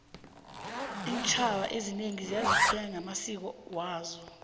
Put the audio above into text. intjhaba ezinengi ziyazichenya ngamasiko azo